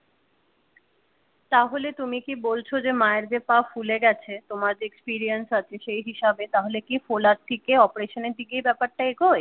তাহলে তুমি কি বলছো যে মায়ের যে পা ফুলে গেছে তোমার যে experience আছে সেই হিসাবে তাহলে কি ফোলার থেকে অপারেশনের দিকে এই ব্যাপারটা এগোই।